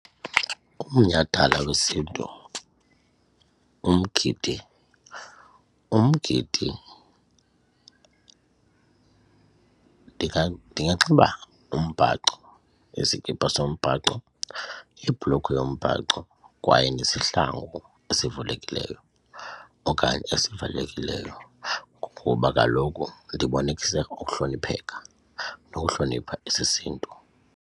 Umnyhadala wesiNtu umgidi, umgidi ndinganxiba umbhaco iskipa sombhaco, ibhlukhwe yombhaco kwaye nesihlangu esivulekileyo okanye esivalekileyo ngoba kaloku ndibonise ukuhlonipheka nokuhlonipha esesiNtu.